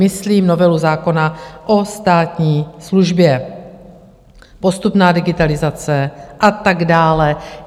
Myslím novelu zákona o státní službě, postupnou digitalizaci a tak dále.